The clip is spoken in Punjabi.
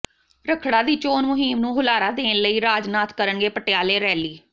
ਰੱਖੜਾ ਦੀ ਚੋਣ ਮੁਹਿੰਮ ਨੂੰ ਹੁਲਾਰਾ ਦੇਣ ਲਈ ਰਾਜਨਾਥ ਕਰਨਗੇ ਪਟਿਆਲੇ ਰੈਲੀ